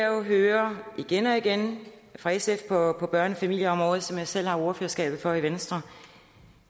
jo hører igen og igen fra sf på børne og familieområdet som jeg selv har ordførerskabet for i venstre